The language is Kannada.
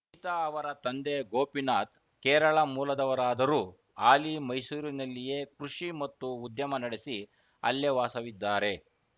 ಗೀತಾ ಅವರ ತಂದೆ ಗೋಪಿನಾಥ್‌ ಕೇರಳ ಮೂಲದವರಾದರೂ ಹಾಲಿ ಮೈಸೂರಿನಲ್ಲಿಯೇ ಕೃಷಿ ಮತ್ತು ಉದ್ಯಮ ನಡೆಸಿ ಅಲ್ಲೇ ವಾಸವಿದ್ದಾರೆ